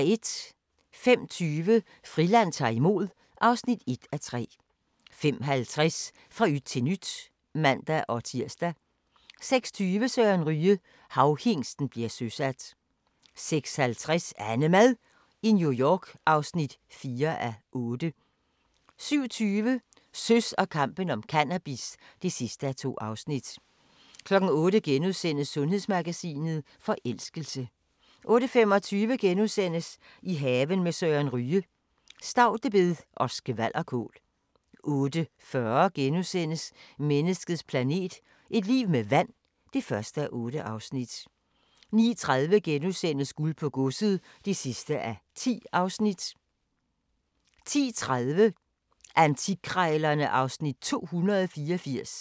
05:20: Friland ta'r imod (1:3) 05:50: Fra yt til nyt (man-tir) 06:20: Søren Ryge – Havhingsten bliver søsat 06:50: AnneMad i New York (4:8) 07:20: Søs og kampen om cannabis (2:2) 08:00: Sundhedsmagasinet: Forelskelse * 08:25: I haven med Søren Ryge: Staudebed og skvalderkål * 08:40: Menneskets planet – et liv med vand (1:8)* 09:30: Guld på Godset (10:10)* 10:30: Antikkrejlerne (Afs. 284)